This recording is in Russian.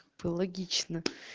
логично